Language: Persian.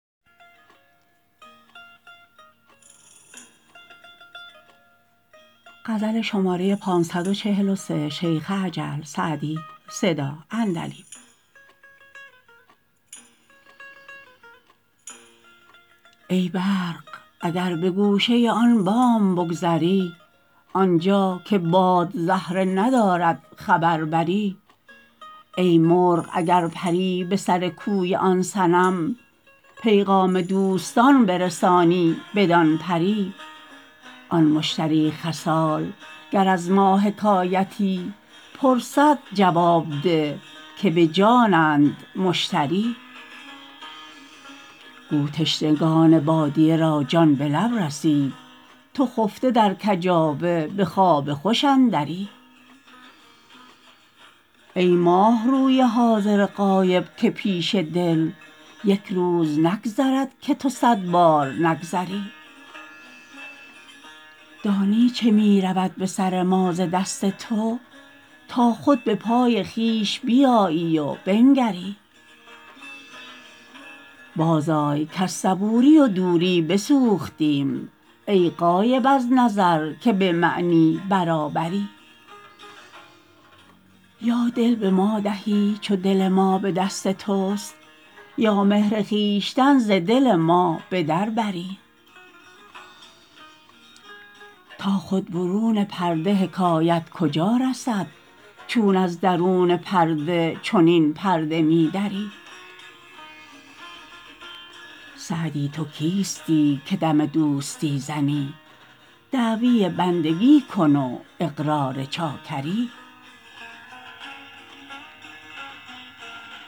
ای برق اگر به گوشه آن بام بگذری آنجا که باد زهره ندارد خبر بری ای مرغ اگر پری به سر کوی آن صنم پیغام دوستان برسانی بدان پری آن مشتری خصال گر از ما حکایتی پرسد جواب ده که به جانند مشتری گو تشنگان بادیه را جان به لب رسید تو خفته در کجاوه به خواب خوش اندری ای ماهروی حاضر غایب که پیش دل یک روز نگذرد که تو صد بار نگذری دانی چه می رود به سر ما ز دست تو تا خود به پای خویش بیایی و بنگری بازآی کز صبوری و دوری بسوختیم ای غایب از نظر که به معنی برابری یا دل به ما دهی چو دل ما به دست توست یا مهر خویشتن ز دل ما به در بری تا خود برون پرده حکایت کجا رسد چون از درون پرده چنین پرده می دری سعدی تو کیستی که دم دوستی زنی دعوی بندگی کن و اقرار چاکری